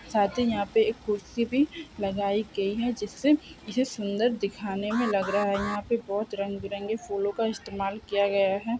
साथ ही यहां पे एक कुर्सी भी लगाई गई है जिससे इसे सुंदर दिखाने में लग रहा है यहां पर बहुत रंग बिरंगी फूलों का इस्तेमाल किया गया है।